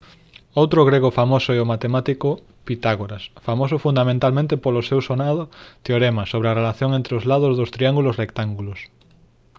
outro grego famoso é o matemático pitágoras famoso fundamentalmente polo seu sonado teorema sobre a relación entre os lados dos triángulos rectángulos